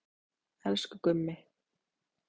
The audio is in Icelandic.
Elsku Gummi.